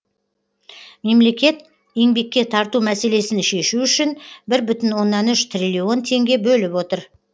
мемлекет еңбекке тарту мәселесін шешу үшін бір бүтін оннан үш триллион теңге бөліп отыр